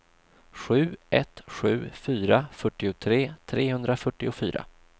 sju ett sju fyra fyrtiotre trehundrafyrtiofyra